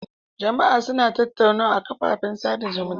Jama'a suna tattaunawa a kafafen sada zumunta.